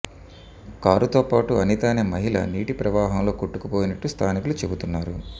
కారుతో పాటు అనిత అనే మహిళ నీటి ప్రవాహంలో కొట్టుకుపోయినట్టు స్థానికులు చెబుతున్నారు